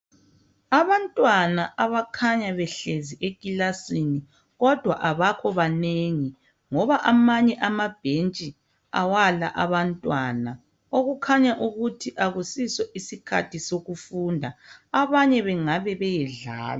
Abantwana abakhanya behlezi ekilasini kodwa abakho banengi ngoba amanye amabhentshi awala abantwana okukhanya ukuthi akusiso isikhathi sokufunda. Abanye bengabe beyedlala